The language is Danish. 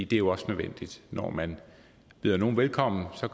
det er jo også nødvendigt når man byder nogle velkommen